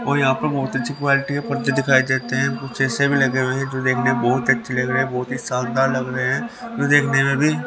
और यहां पर बहुत अच्छी क्वालिटी के पत्ते दिखाई देते हैं कुछ ऐसे भी लगे हुए हैं जो देखने में बहुत अच्छे लग रहे हैं बहुत ही शानदार लग रहे हैं जो देखने में भी --